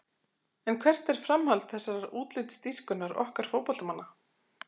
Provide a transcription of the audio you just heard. En hvert er framhald þessarar útlitsdýrkunar okkar fótboltamanna?